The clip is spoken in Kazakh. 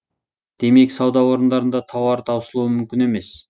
демек сауда орындарында тауар таусылуы мүмкін емес